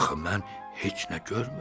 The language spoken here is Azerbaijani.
Axı mən heç nə görmürəm.